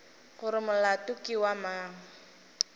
gore molato ke wa mang